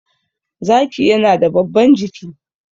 zaki yana da babban jiki